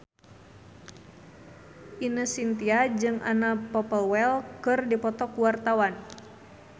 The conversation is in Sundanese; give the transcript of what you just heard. Ine Shintya jeung Anna Popplewell keur dipoto ku wartawan